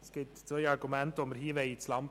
Wir führen hier zwei Argumente ins Feld.